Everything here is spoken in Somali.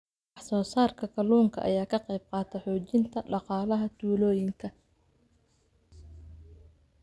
Wax soo saarka kalluunka ayaa ka qayb qaata xoojinta dhaqaalaha tuulooyinka.